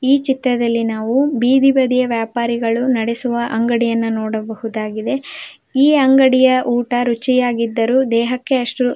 ಈ ಚಿತ್ರದಲ್ಲಿ ನಾವು ಬೀದಿ ಬದಿಯ ವ್ಯಾಪಾರಿಗಳು ನಡೆಸುವ ಅಂಗಡಿಯನ್ನು ನೋಡಬಹುದಾಗಿದೆ ಈ ಅಂಗಡಿಯ ಊಟ ರುಚಿಯಾಗಿದ್ದರು ದೇಹಕ್ಕೆ ಅಷ್ಟು --